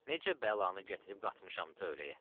Necə bəlanı gətirib qatmışam tövləyə?